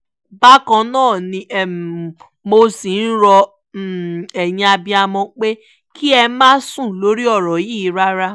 bákan náà ni mo ṣì ń rọ ẹ̀yin abiyamọ pé kí ẹ má sùn lórí ọ̀rọ̀ yìí rárá